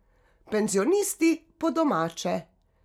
Penzionisti, po domače.